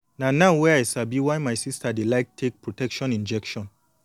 na now wey i sabi why my sister dey like take protection injection